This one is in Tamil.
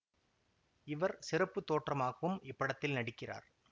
இவர் சிறப்பு தோற்றமாகவும் இப்படத்தில் நடிக்கிறார்